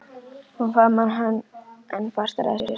Hún faðmar hann enn fastar að sér.